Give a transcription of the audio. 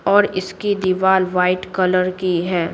और इसकी दीवार वाइट कलर की है।